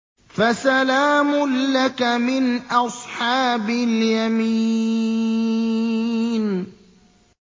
فَسَلَامٌ لَّكَ مِنْ أَصْحَابِ الْيَمِينِ